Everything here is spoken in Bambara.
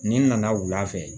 N'i nana wula fɛ